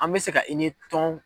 An bɛ se ka i ni tɔn